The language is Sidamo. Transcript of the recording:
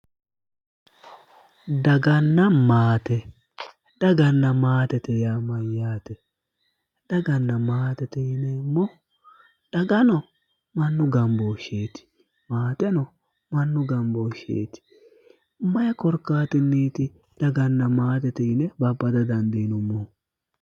Daganna maate:-daganna maatete yaa mayaate daganna maatete yineem dagano mannu ganbosheetti maateno mannu ganibosheeti mayi korikaattiiniiti daganna maatete yine babada dandinoommohu